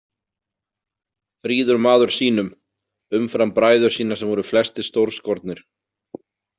Fríður maður sýnum, umfram bræður sína sem voru flestir stórskornir.